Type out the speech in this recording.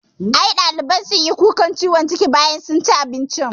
I ɗaliban sunyi kukan ciwon ciki bayan sun ci abincin